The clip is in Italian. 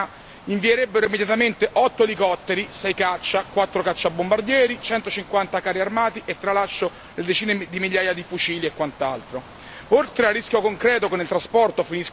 Se ciò accadesse, Repubblica ceca, Serbia e Ucraina invierebbero immediatamente otto elicotteri, sei caccia, quattro cacciabombardieri, centocinquanta carri armati e tralascio le decine di migliaia di fucili e quant'altro.